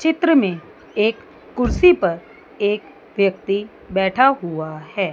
चित्र में एक कुर्सी पर एक व्यक्ति बैठा हुआ है।